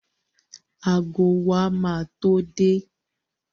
Ago wa ma tó dé